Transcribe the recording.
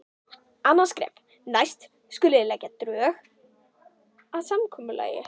Annað skref: Næst skulið þið leggja drög að samkomulagi.